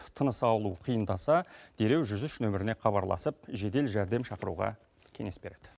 тыныс алу қиындаса дереу жүз үш нөміріне хабарласып жедел жәрдем шақыруға кеңес береді